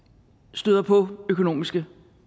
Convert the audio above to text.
støder på økonomiske